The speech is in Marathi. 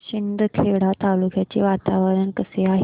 शिंदखेडा तालुक्याचे वातावरण कसे आहे